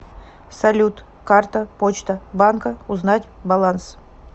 салют карта почта банка узнать баланс